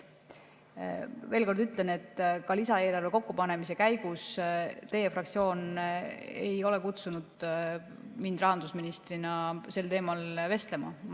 Veel kord ütlen, et ka lisaeelarve kokkupanemise käigus teie fraktsioon ei kutsunud mind rahandusministrina sel teemal vestlema.